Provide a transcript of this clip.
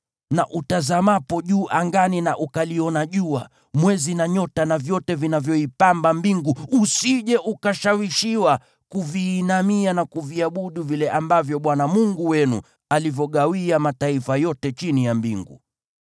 Na utazamapo juu angani na ukaliona jua, mwezi na nyota na vyote vinavyoipamba mbingu, usije ukashawishiwa kuviinamia na kuviabudu vile ambavyo Bwana Mungu wenu alivyogawia mataifa yote chini ya mbingu.